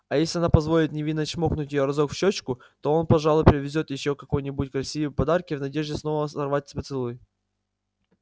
а если она позволит невинно чмокнуть её разок в щёчку то он пожалуй привезёт ей ещё какие-нибудь красивые подарки в надежде снова сорвать поцелуй